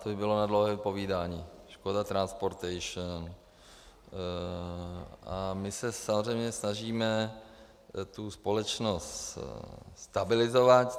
To by bylo na dlouhé povídání - Škoda Transportation - a my se samozřejmě snažíme tu společnost stabilizovat.